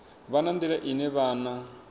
vha na nḓila ine vhana